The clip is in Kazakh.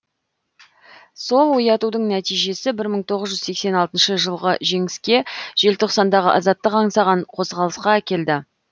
сол оятудың нәтижесі бір мың тоғыз жүз сексен алтыншы жылғы жеңіске желтоқсандағы азаттық аңсаған қозғалысқа әкелді